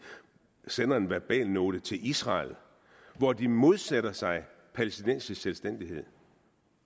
sendte en verbalnote til israel hvor de modsætter sig palæstinensisk selvstændighed